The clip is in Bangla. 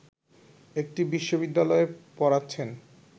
একটি বিশ্ববিদ্যালয়ে পড়াচ্ছেন